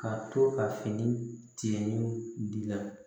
Ka to ka fini tigɛ ɲɔgɔn di yan